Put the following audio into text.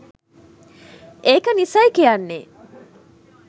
ඒක නිසයි කියන්නේ.